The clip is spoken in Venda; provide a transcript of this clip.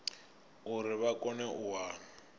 uri vha kone u wana